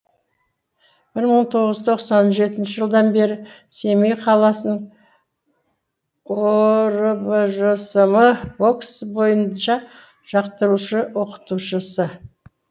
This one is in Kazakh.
бір мың тоғыз жүз тоқсан жетінші жылдан бері семей қаласының оорбжсм бокс бойынша жаттықтырушы оқытушысы